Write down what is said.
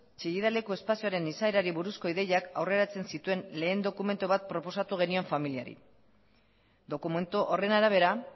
chillida leku espazioaren izaerari buruzko ideiak aurreratzen zituen lehen dokumentu bat proposatu genion familiari dokumentu horren arabera